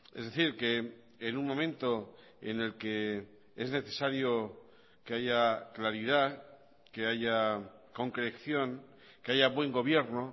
es decir que en un momento en el que es necesario que haya claridad que haya concreción que haya buen gobierno